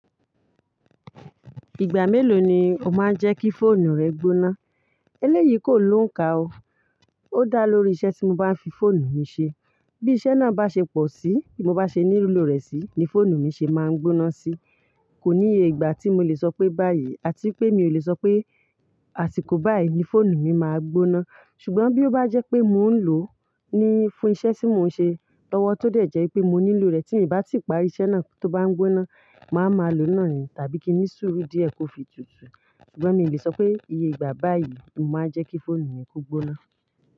Ìgbà mélòó ni o máa ń jẹ́ kí fóònù rẹ gbóná? Eléyìí kò ló ń ka ó, ó dá lórí iṣẹ́ tí mo bá ń fi fóònù mi ṣe. Bí iṣẹ́ náà bá ṣe pọ̀ sí, mo bá ṣe ní lo rẹ̀ sí ni fóònù mi ṣe máa ń gbóná sí. Kò níye ìgbà tí mo lè sọ pé báyìí àti pé mi ò lè sọ pé àsìkò báyìí ni fóònù mi máa gbóná. Ṣùgbọ́n bí ó bá jẹ́ pé mò ń lò ó ní fún iṣẹ́ tí mò ń ṣe lọ́wọ́ tó dẹ̀ jẹ́ pé mo nílò rẹ̀ tí mo bá ti parí iṣẹ́ náà tó bá ń gbóná, màá ma lo ná ni tàbí kí ní sùúrù díẹ̀ kó fi tutù. Ṣùgbọ́n mi ò lè sọ pé iye ìgbà báyìí mo máa ń jẹ́ kí fóònù mi kó gbóná.